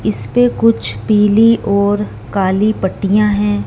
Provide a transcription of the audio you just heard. इसपे कुछ पीली और काली पट्टियां हैं।